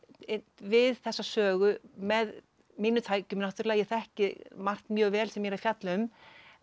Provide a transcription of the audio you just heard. við þessa sögu með mínum tækjum náttúrulega ég þekki margt mjög vel sem ég er að fjalla um en